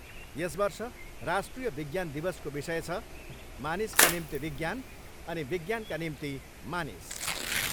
यस वर्ष राष्ट्रिय विज्ञान दिवसको विषय छ 'मानिसका निम्ति विज्ञान अनि विज्ञानका निम्ति मानिस'।